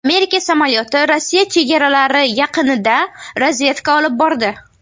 Amerika samolyoti Rossiya chegaralari yaqinida razvedka olib bordi.